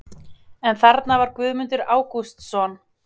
En þarna var Guðmundur Ágústsson!